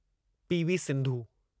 P. V. Sindhu